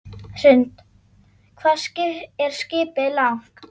Hrund: Hvað er skipið langt?